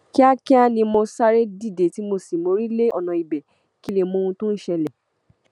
kíákíá ni mo sáré dìde tí mo sì mórí lé ọnà ibẹ kí n lè mọ ohun tó ń ṣẹlẹ